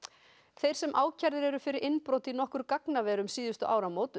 þeir sem ákærðir eru fyrir innbrot í nokkur gagnaver um síðustu áramót